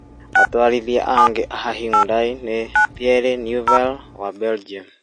Atwarithia angĩ a Hyundai nĩ Thierry Neuville wa Belgium ,